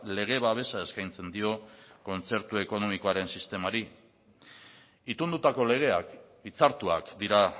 lege babesa eskaintzen dio kontzertu ekonomikoaren sistemari itundutako legeak hitzartuak dira